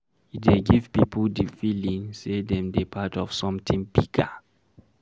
E dey give pipo di feeling sey dem dey part of something bigger